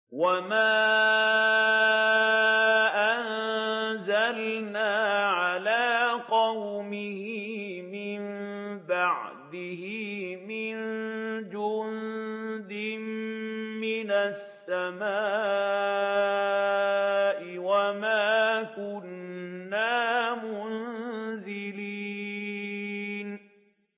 ۞ وَمَا أَنزَلْنَا عَلَىٰ قَوْمِهِ مِن بَعْدِهِ مِن جُندٍ مِّنَ السَّمَاءِ وَمَا كُنَّا مُنزِلِينَ